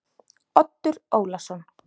Oddur Ólason.